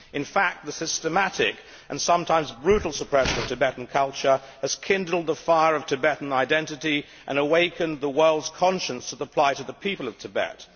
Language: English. In fact, the systematic and sometimes brutal suppression of Tibetan culture has kindled the fire of Tibetan identity and awakened the world's conscience to the plight of the people of Tibet.